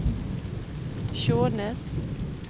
Skjånes